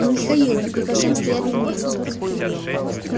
михаил да прикажи им стоять на месте